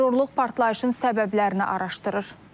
Prokurorluq partlayışın səbəblərini araşdırır.